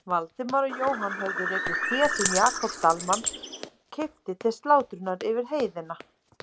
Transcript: Valdimar og Jóhann höfðu rekið féð sem Jakob Dalmann keypti til slátrunar yfir heiðina.